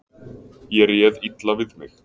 Ég réð illa við mig.